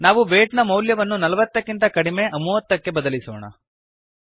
ನಾವು ವೇಯ್ಟ್ ನ ಮೌಲ್ಯವನ್ನು ೪೦ ಕ್ಕಿಂತ ಕಡಿಮೆ ೩೦ ಕ್ಕೆ ಬದಲಿಸೋಣ